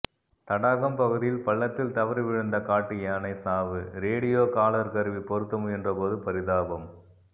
தடாகம் பகுதியில் பள்ளத்தில் தவறி விழுந்த காட்டு யானை சாவு ரேடியோ காலர் கருவி பொருத்த முயன்ற போது பரிதாபம்